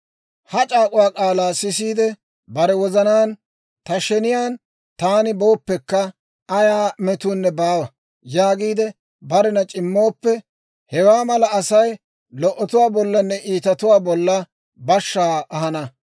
«Ha c'aak'uwaa k'aalaa sisiide, bare wozanaan, ‹Ta sheniyaan taani booppekka, ayaa metuunne baawa› yaagiide barena c'immooppe, hewaa mala Asay lo"otuwaa bollanne iitatuwaa bolla bashshaa ahana.